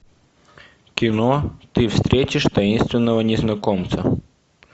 кино ты встретишь таинственного незнакомца